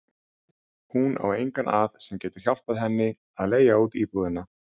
Hún á engan að sem getur hjálpað henni að leigja út íbúðina.